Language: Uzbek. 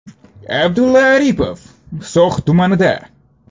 Abdulla Aripov So‘x tumanida.